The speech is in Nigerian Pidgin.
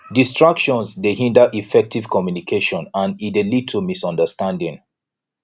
distractions dey hinder effective communication and e dey lead to misunderstanding